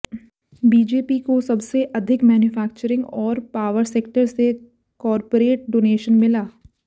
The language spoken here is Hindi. बीजेपी को सबसे अधिक मैनुफक्चरिंग और पावर सेक्टर से कॉरपोरेट डोनेशन मिला